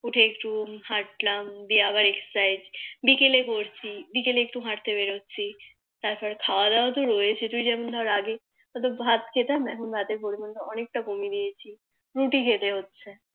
উঠে একটু হাটলাম তারপর দিয়ে আবার Exercise বিকেলে করছি বিকেলে একটু হাটতে বেরোচ্ছি তারপর তো খাওয়া দাওয়া তো রয়েছে তুই যেমন ধর আগে ভাত খেতাম এখন ভাতের পরিমান তা অনেকটা কমিয়ে দিয়েছি রুটি খেতে হচ্ছে